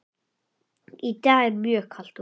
Í dag er mjög kalt úti.